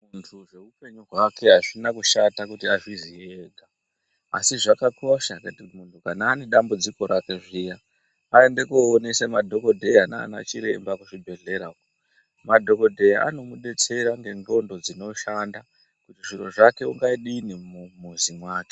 Muntu zveupenyu hwake azvina kushata kuti azviziye ega asi zvakakosha kuti muntu kana ane dambudziko rake zviya aende koonesa madhokodheya naanachiremba kuzvibhedhleramwo. Madhokodheya anomubetsera ngendxondo dzinoshanda zviro zvake ungadini mumuzi mwake.